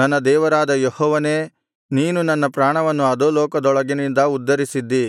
ನನ್ನ ದೇವರಾದ ಯೆಹೋವನೇ ನೀನು ನನ್ನ ಪ್ರಾಣವನ್ನು ಅಧೋಲೋಕದೊಳಗಿನಿಂದ ಉದ್ಧರಿಸಿದ್ದೀ